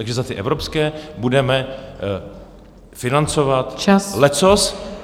Takže za ty evropské budeme financovat leccos.